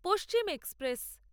Paschim express